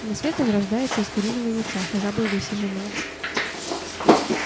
на свет он рождается из куриного яйца жабой высиженного